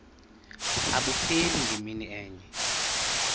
abupheli ngemini enye